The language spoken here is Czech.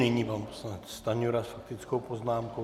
Nyní pan poslanec Stanjura s faktickou poznámkou.